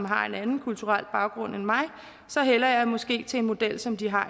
har en anden kulturel baggrund end mig så hælder jeg måske til en model som de har